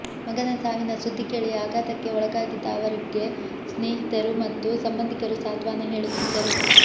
ಮಗನ ಸಾವಿನ ಸುದ್ದಿ ಕೇಳಿ ಆಘಾತಕ್ಕೆ ಒಳಗಾಗಿದ್ದ ಅವರಿಗೆ ಸ್ನೇಹಿ ತರು ಮತ್ತು ಸಂಬಂಧಿಕರು ಸಾಂತ್ವನ ಹೇಳುತ್ತಿದ್ದರು